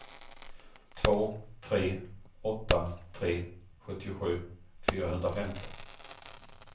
två tre åtta tre sjuttiosju fyrahundrafemton